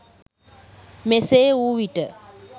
මෙසේ වූ විට